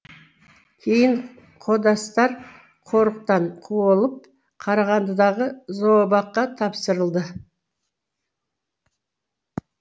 кейін қодастар қорықтан қуылып қарағандыдағы зообаққа тапсырылды